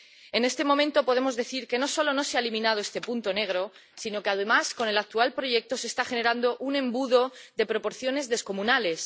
En este momento podemos decir que no solo no se ha eliminado este punto negro, sino que, además, con el actual proyecto se está generando un embudo de proporciones descomunales.